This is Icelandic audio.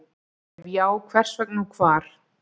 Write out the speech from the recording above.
Ef já, hvers vegna og hvar?